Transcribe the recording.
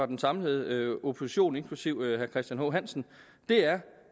den samlede opposition inklusive herre christian h hansen er